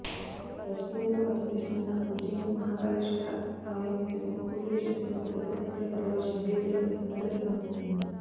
రాజకీయ నేతలకు అత్యంత ఇష్టమైన ఉజ్జయిని మహాకాళేశ్వర ఆలయం సైతం పూజలు చేసేందుకు పెద్దసంఖ్యలో తరలివచ్చిన అభ్యర్థులతో సందడిగా కనిపిస్తోంది